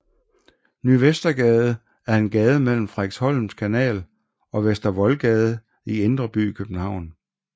Ny Vestergade er en gade mellem Frederiksholms Kanal og Vester Voldgade i Indre By i København